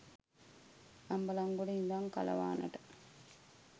අම්බලන්ගොඩ ඉඳං කලවානට